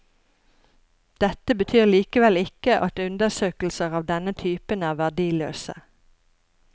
Dette betyr likevel ikke at undersøkelser av denne typen er verdiløse.